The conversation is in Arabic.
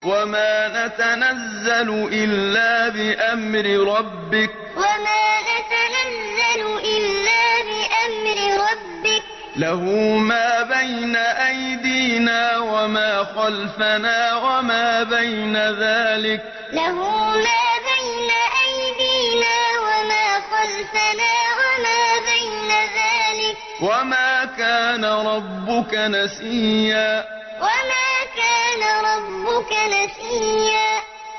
وَمَا نَتَنَزَّلُ إِلَّا بِأَمْرِ رَبِّكَ ۖ لَهُ مَا بَيْنَ أَيْدِينَا وَمَا خَلْفَنَا وَمَا بَيْنَ ذَٰلِكَ ۚ وَمَا كَانَ رَبُّكَ نَسِيًّا وَمَا نَتَنَزَّلُ إِلَّا بِأَمْرِ رَبِّكَ ۖ لَهُ مَا بَيْنَ أَيْدِينَا وَمَا خَلْفَنَا وَمَا بَيْنَ ذَٰلِكَ ۚ وَمَا كَانَ رَبُّكَ نَسِيًّا